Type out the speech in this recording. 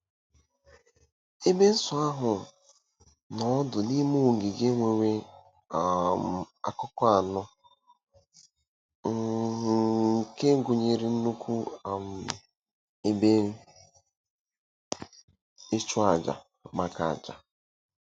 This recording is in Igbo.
Ebe nsọ ahụ nọ ọdụ n'ime ogige nwere um akụkụ anọ um nke gụnyere nnukwu um ebe ịchụàjà maka àjà.